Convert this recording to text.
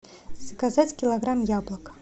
заказать килограмм яблок